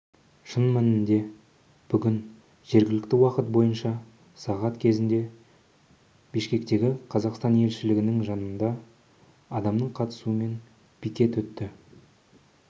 шын мәнінде бүгін жергілікті уақыт бойынша сағат кезінде бішкектегі қазақстан елшілігінің жанында адамның қатысуымен пикет өтті